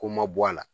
Ko ma bɔ a la